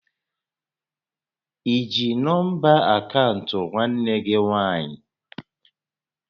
I ji nọmba akaụntụ nwanne gị nwaanyị?